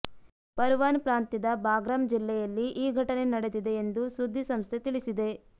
ಪರ್ವಾನ್ ಪ್ರಾಂತ್ಯದ ಬಾಗ್ರಾಮ್ ಜಿಲ್ಲೆಯಲ್ಲಿ ಈ ಘಟನೆ ನಡೆದಿದೆ ಎಂದು ಸುದ್ದಿ ಸಂಸ್ಥೆ ತಿಳಿಸಿದೆ